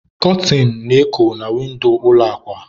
Kọtịn na-eko na windo ụlọ akwa.